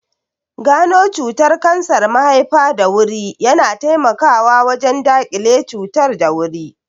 Gano cutar kansar mahaifa da wuri na taimakawa wajen daƙile cutar da wuri